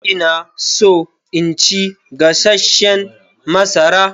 Ina so in ci gasasshen masara.